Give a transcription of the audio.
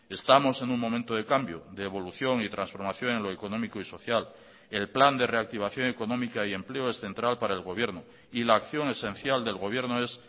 estamos en un momento de cambio de evolución y transformación en lo económico y social el plan de reactivación económica y empleo es central para el gobierno y la acción esencial del gobierno es